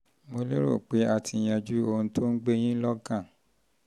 mo lérò pé a ti yanjú ohun um tó ń gbé yín lọ́kàn yín lọ́kàn